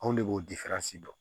Anw de b'o dɔn